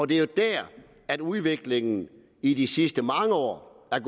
det er der udviklingen i de sidste mange år er